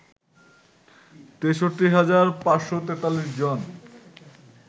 ৬৩ হাজার ৫৪৩ জন